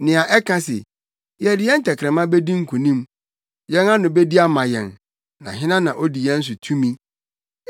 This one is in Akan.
nea ɛka se, “Yɛde yɛn tɛkrɛma bedi nkonim; yɛn ano bedi ama yɛn, na hena na odi yɛn so tumi?”